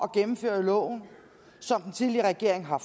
gennemføre loven som den tidligere regering har